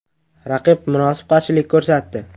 Raqib munosib qarshilik ko‘rsatdi.